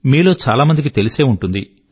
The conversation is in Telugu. మీలో చాలా మందికి తెలిసే ఉంటుంది